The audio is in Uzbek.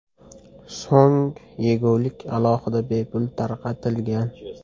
So‘ng yegulik aholiga bepul tarqatilgan.